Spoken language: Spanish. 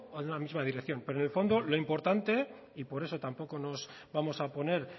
en una misma dirección pero en el fondo lo importante y por eso tampoco nos vamos a oponer